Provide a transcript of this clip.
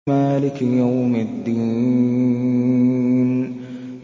مَالِكِ يَوْمِ الدِّينِ